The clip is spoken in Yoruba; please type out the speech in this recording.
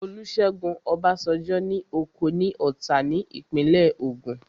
Olúṣẹ́gun Ọbásanjọ́ ní oko ní Ọ̀tà ní ìpínlẹ̀ Ògùn